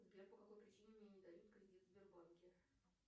сбер по какой причине мне не дают кредит в сбербанке